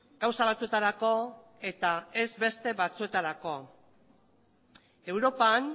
gauza batzuetarako eta ez beste batzuetarako europan